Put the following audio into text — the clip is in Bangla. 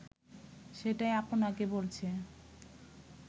সেটাই আপনাকে বলছে